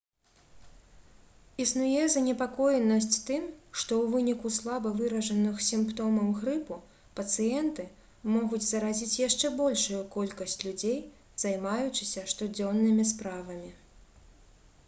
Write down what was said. існуе занепакоенасць тым што ў выніку слаба выражаных сімптомаў грыпу пацыенты могуць заразіць яшчэ большую колькасць людзей займаючыся штодзённымі справамі